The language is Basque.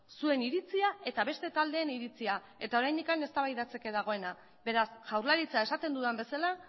zuen iritzia eta beste taldeen iritzia eta oraindik eztabaidatzeke dagoena beraz jaurlaritza esaten dudan bezala